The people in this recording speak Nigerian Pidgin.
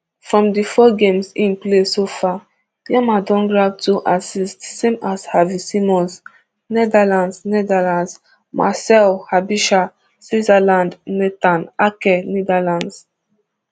from di four games im play so far yamal don grab two assists same as xavi simmons netherlands netherlands marcel aebischer switzerland nathan ake netherlands